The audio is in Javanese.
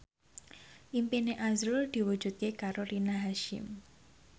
impine azrul diwujudke karo Rina Hasyim